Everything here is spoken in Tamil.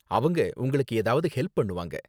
அவங்க உங்களுக்கு ஏதாவது ஹெல்ப் பண்ணுவாங்க.